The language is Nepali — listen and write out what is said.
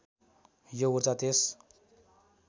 यो ऊर्जा त्यस